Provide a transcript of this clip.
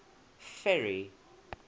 ferry